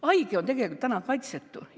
Haige on tegelikult kaitsetu.